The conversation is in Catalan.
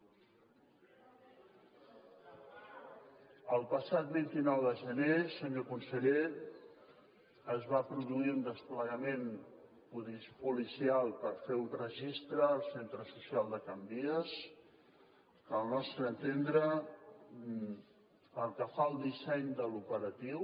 el passat vint nou de gener senyor conseller es va produir un desplegament policial per fer un registre al centre social de can vies que al nostre entendre pel que fa el disseny de l’operatiu